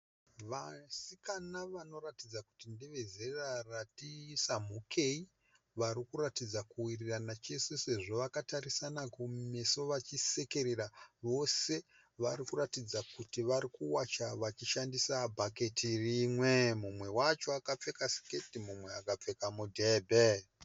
Vasikana vanoratidza kuti ndevezera rati samhukei, vari kuratidza kuwirirana chese sezvo vakatarisana kumeso vachisekerera. Vose vari kuratidza kuti vari kuwacha vachishandisa bhaketi rimwe. Mumwe wacho akapfeka siketi mumwe akapfeka mudhebhe.